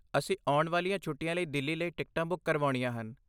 ਅਸੀਂ ਆਉਣ ਵਾਲੀਆਂ ਛੁੱਟੀਆਂ ਲਈ ਦਿੱਲੀ ਲਈ ਟਿਕਟਾਂ ਬੁੱਕ ਕਰਵਾਉਣੀਆਂ ਹਨ।